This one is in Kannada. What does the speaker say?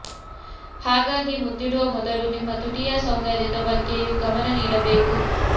ಹಾಗಾಗಿ ಮುತ್ತಿಡುವ ಮೊದಲು ನಿಮ್ಮ ತುಟಿಯ ಸೌಂದರ್ಯದ ಬಗ್ಗೆಯೂ ಗಮನ ನೀಡಬೇಕು